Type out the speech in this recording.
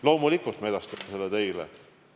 Loomulikult me edastame selle teile.